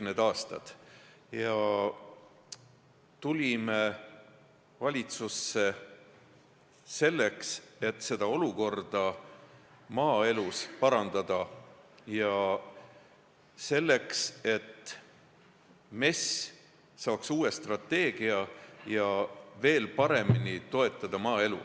Me tulime valitsusse selleks, et olukorda maaelus parandada, et ka MES saaks uue strateegia abil maaelu veel paremini toetada.